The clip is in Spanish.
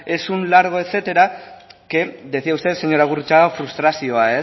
es un largo etcétera que decía usted señora gurrutxaga frustrazioa